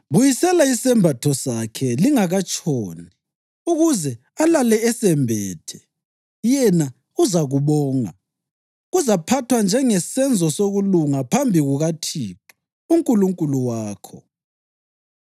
Buyisela isembatho sakhe lingakatshoni ukuze alale esembethe. Yena uzakubonga, kuzaphathwa njengesenzo sokulunga phambi kukaThixo uNkulunkulu wakho.